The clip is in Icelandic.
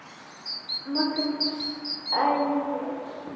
Magnús Egill.